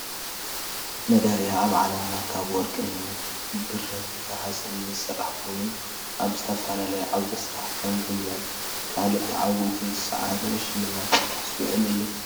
መዳልያ ኣብ ዓለምና ካብ ወርቅን ብርን ናህስን ዝስራሕ ኮይኑ ኣብ ዝተፈላለዩ ዓውደ ስራሕ ከም ጉያን ካልእን ተዓዊቱ ዝሳዓረ ንሽልማት ዝውዕል እዩ።